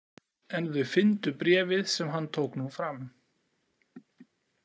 En þau fyndu bréfið sem hann tók nú fram.